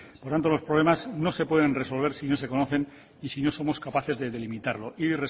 por lo tanto los problemas no se pueden resolver si no se conocen y si no somos capaces de delimitarlo y